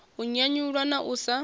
u nyanyulwa na u sa